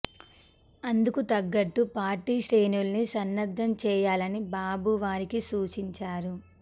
అందుకు తగ్గట్టు పార్టీ శ్రేణుల్ని సన్నద్ధం చేయాలని బాబు వారికి సూచించారు